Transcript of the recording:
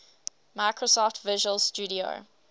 microsoft visual studio